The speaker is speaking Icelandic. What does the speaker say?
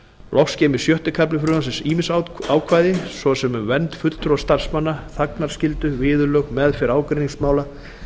loks geymir sjötti kafli frumvarpsins ýmis ákvæði svo sem um vernd fulltrúa starfsmanna þagnarskyldu viðurlög meðferð ágreiningsmála